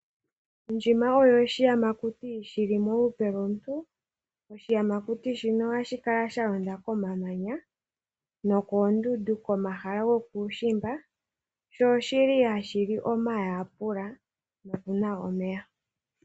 Ndjima oyo oshiyamakuti shili molupe lomuntu. Oshiyamakuti shika ohashi kala sha londa komamanya nokoondundu komahala gokuushimba, sho oshili ha shili omayapula no kunwa omeya.